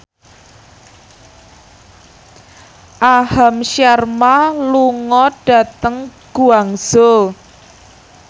Aham Sharma lunga dhateng Guangzhou